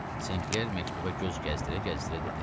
Senkler məktuba göz gəzdirə-gəzdirə dedi.